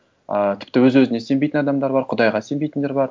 ыыы тіпті өз өзіне сенбейтін адамдар бар құдайға сенбейтіндер бар